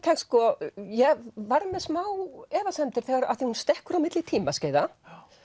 ég var með smá efasemdir af því hún stekkur á milli tímaskeiða